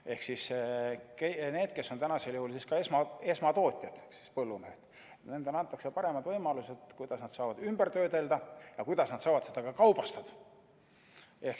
Ehk siis need, kes on täna esmatootjad ehk siis põllumehed, nendele antakse paremad võimalused, kuidas nad saavad ümber töödelda ja kuidas nad saavad kaubastada.